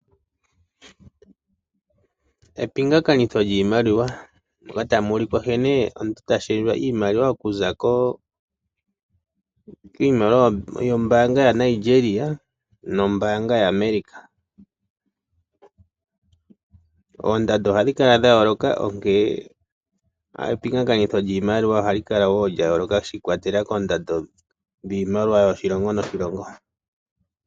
Epingakanitho lyiimaliwa moka tamu ulikwa nkene omuntu ta shendjwa iimaliwa okuza kiimaliwa yaAmerica niimaliwa yaNigeria. Oondando ohadhi kala dha yooloka, onkene epingakanitho lyiimaliwa ohali kala wo lya yooloka shi ikwatelela koondando dhiimaliwa yoshilongo noshilongo.